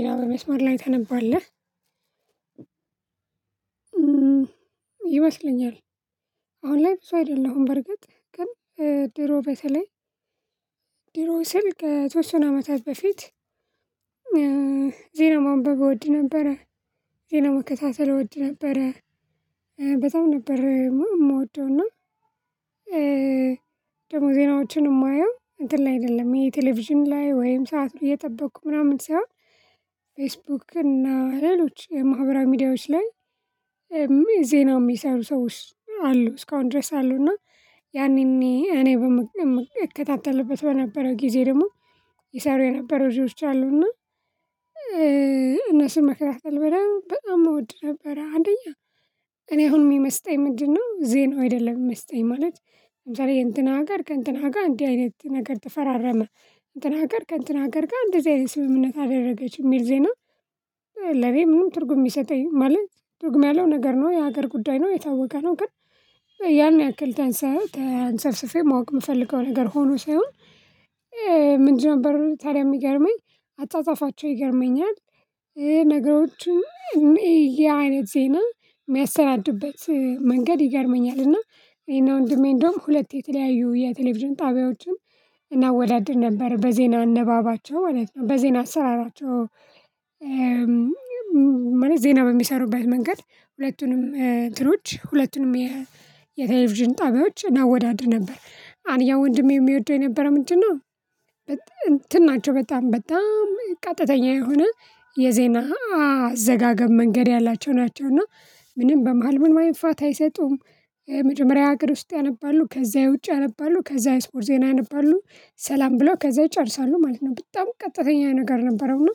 ይሄን በመስመር ላይ ታነባለህ? ይመስለኛል አሁን ላይ ብዙ አይደለሁም በርግጥ ግን ድሮ በተለይ ድሮ ስል ከተወሰነ አመታት በፊት ማንበብ እወድ ነበረ። ዜና መከታተል እወድ ነበረ በጣም ነበር የምወደው እና። ደግሞ ዜናዎችን የማየው እንተ ላይ አይደለም ይሄ ቴሌቪዥን ላይ ወይም ሰዓት እየጠበቅኩ ምናምን ሳይሆን። ፌስቡክ እና ሌሎች የማህበራዊ ሚዲያዎች ላይ ዜና የሚሰሩ ሰዎች አሉ እስካሁን ድረስ አሉ። እና ያኔ እኔ እከታተልበት በነበረው ጊዜ ደግሞ ይሰሩ የነበሩ ልጆችች አሉና እነሱን መከታተል በጣም እወድ ነበረ። አንደኛ እኔ አሁን የሚመስጠኝ ምንድነው? ዜናው አይደለም የሚመስጠኝ ማለት ለምሳሌ የእንትና ሀገር ከእንትና ጋር እንዲህ አይነት ነገር ተፈራረመ እንትን ሀገር ከእንትን ሀገር ጋር እንደዚህ አይነት ስምምነት አደረገች የሚል ዜና። ለኔ ምንም ትርጉም የሚሰጠኝ ማለት ደግሞ ያለው ነገር ነው የሀገር ጉዳይ ነው የታወቀ ነው። ግን ያን ያክል ተንሰፍስፌ ማወቅ የምፈልገው ነገር ሆኖ ሳይሆን። ምንድን ነበር ታዲያ የሚገርመኝ አጻጻፋቸው ይገርመኛል። ነገሮችን የሚያዩበት ዜና የሚያሰናዱበት መንገድ ይገርመኛል። እና እኔና ወንድሜ እንደውም ሁለት የተለያዩ የቴሌቪዥን ጣቢያዎችን እናወዳድር ነበር በዜና አነባበባቸው ማለት ነው በዜና አሰራራቸው። ዜና በሚሰሩበት መንገድ ሁለቱንም እንትኖች ሁለቱንም የቴሌቪዥን ጣቢያዎች እናወዳድር ነበር አንደኛ ወንድሜ የሚወደው የነበረው ምንድን ነው? እንትን ናቸው በጣም በጣም ቀጥተኛ የሆነ የዜና አዘጋገብ መንገድ ያላቸው ናቸው። እና ምንም በመሃል ምንም አይነት ፋታ አይሰጡም። መጀመሪያ የሀገር ውስጥ ያነባሉ ከዛ የውጭ ያነባሉ ከዛ የስፖርት ዜና ያነባሉ ሰላም ብለው ከዛ ይጨርሳሉ ማለት ነው። በጣም ቀጥተኛ ነገር ነበረው እና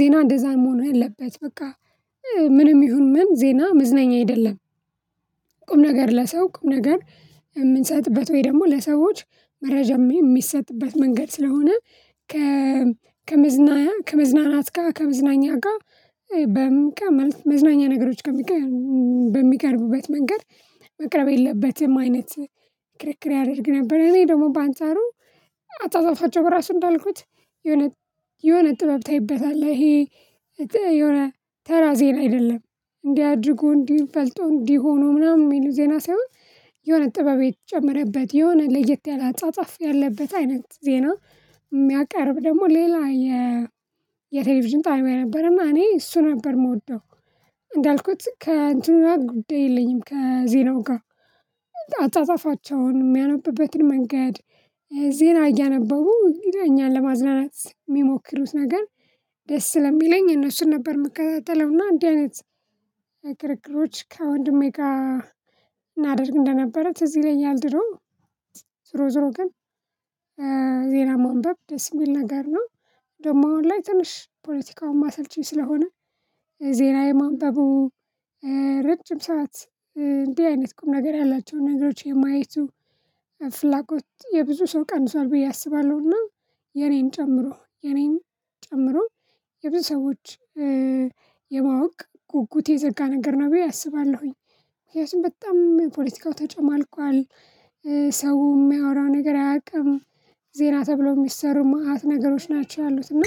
ዜና እንደዛ መሆን የለበትም በቃ ምንም ይሁን ምን ዜና መዝናኛ አይደለም። ቁም ነገር ለሰው ቁም ነገር የምንሰጥበት ወይ ደግሞ ለሰዎች መረጃም የሚሰጥበት መንገድ ስለሆነ። ከ ከመዝናኛ ከመዝናናት ጋር ከመዝናኛ ጋር በምን ቀን ማለት መዝናኛ ነገሮች ጋር በሚቀርቡበት መንገድ። መቅረብ የለበትም አይነት ክርክር ያደርግ ነበር። እኔ ደግሞ በአንጻሩ አጻጻፋቸው በራሱ እንዳልኩት የሆነ የሆነ ጥበብ ታይበታለህ ይሄ። የሆነ ተራ ዜና አይደለም እንዲህ አድርጎ እንዲህ ፈልጦ እንዲህ ሆኖ ምናምን የሚሉ ዜና ሳይሆን የሆነ ጥበብ የተጨመረበት የሆነ ለየት ያለ አጻጻፍ ያለበት አይነት ዜና። የሚያቀርብ ደግሞ ሌላ የ የቴሌቪዥን ጣቢያ የነበረና እኔ እሱን ነበር የምወደው። እንዳልኩት ከእንትኑ ጉዳይ የለኝም ከዜናው ጋር። አጻጻፋቸውን የሚያነብበትን መንገድ ዜና እያነበቡ ይለያል ለማዝናናት የሚሞክሩት ነገር። ደስ ስለሚለኝ እነሱን ነበር የምከታተለውና እንዲህ አይነት ክርክሮች ከወንድሜ ጋር እናደርግ እንደነበረ ትዝ ይለኛል ድሮ። ዞሮ ዞሮ ግን ዜና ማንበብ ደስ የሚል ነገር ነው። ደግሞ አሁን ላይ ትንሽ ፖለቲካውም ማሰልቺ ስለሆነ ዜና የማንበቡ ረጅም ሰዓት እንዲህ አይነት ቁም ነገር ያላቸውን ነገሮች የማየቱ ፍላጎት የብዙ ሰው ቀንሷል ብዬ አስባለሁና። የኔን ጨምሮ የኔን ጨምሮ የብዙ ሰዎች የማወቅ ጉጉት የዘጋ ነገር ነው ብዬ አስባለሁኝ። ምክንያቱም በጣም ፖለቲካው ተጨማልቋል። ሰው የሚያወራውን ነገር አያውቅም። ዜና ተብለው የሚሰሩ መአት ነገሮች ናቸው ያሉት እና